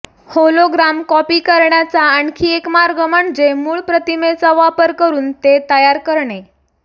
hologram copy करण्याचा आणखी एक मार्ग म्हणजे मूळ प्रतिमेचा वापर करुन ते तयार करणे